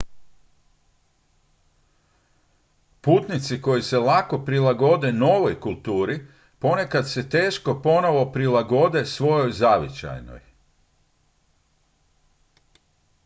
putnici koji se lako prilagode novoj kulturi ponekad se teško ponovno prilagode svojoj zavičajnoj